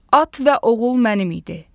At və oğul mənim idi.